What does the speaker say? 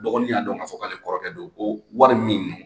Dɔgɔnin y'a dɔn ka fɔ k'ale kɔrɔkɛ don, ko wari min